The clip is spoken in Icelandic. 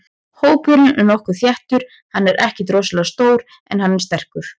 Hópurinn er nokkuð þéttur, hann er ekkert rosalega stór en hann er sterkur.